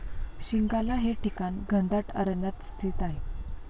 शिंगाला हे ठिकाण घनदाट अरण्यात स्थित आहे.